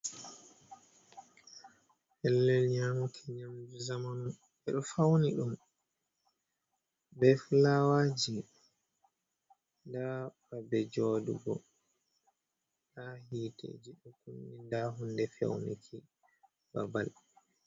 Pellel nyamki nyamdu zamanu. Ɓe ɗo fauni ɗum be fulawaji. Nda ba be jooɗugo, nda hite, nda hunde fewniki babal.